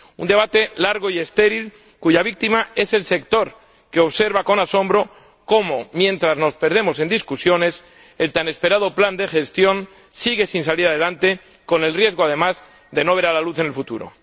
Un debate largo y estéril cuya víctima es el sector, que observa con asombro cómo, mientras nos perdemos en discusiones, el tan esperado plan de gestión sigue sin salir adelante con el riesgo de no ver la luz en el futuro.